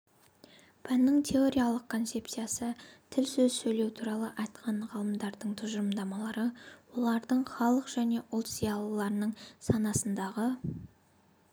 пәннің теориялық концепциясы тіл сөз сөйлеу туралы айтқан ғалымдардың тұжырымдамалары олардың халық және ұлт зиялыларының санасындағы